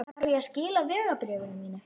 Þarf ég að skila vegabréfinu mínu?